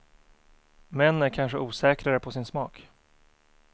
Män är kanske osäkrare på sin smak.